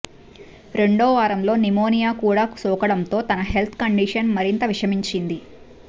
రెండోవారంలో pneumonia కూడా సోకడంతో తన హెల్త్ కండిషన్ మరింత విషమించింది